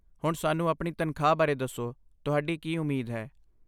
ਹੁਣ ਸਾਨੂੰ ਆਪਣੀ ਤਨਖਾਹ ਬਾਰੇ ਦੱਸੋ, ਤੁਹਾਡੀ ਕੀ ਉਮੀਦ ਹੈ